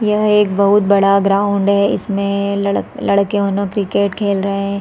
यह एक बहुत बड़ा ग्राउंड है इसमें लड़ लड़के उनो क्रिकेट खेल रहै है।